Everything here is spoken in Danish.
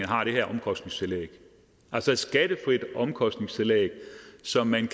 har det her omkostningstillæg altså et skattefrit omkostningstillæg som man